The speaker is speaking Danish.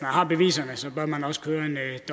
har beviserne bør man også køre